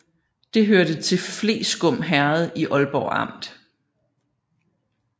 Det hørte til Fleskum Herred i Aalborg Amt